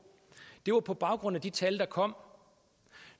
det var på baggrund af de tal der kom